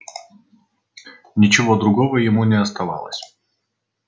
ничего другого ему не оставалось